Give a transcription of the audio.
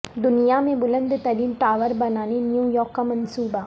دنیا میں بلند ترین ٹاور بنانے نیویارک کا منصوبہ